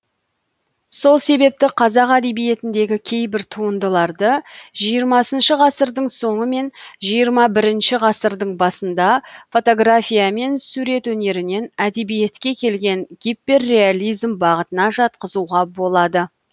сол себепті қазақ әдебиетіндегі кейбір туындыларды жиырмасыншы ғасырдың соңы мен жиырма бірінші ғасырдың басында фотография мен сурет өнерінен әдебиетке келген гиперреализм бағытына жатқызуға болады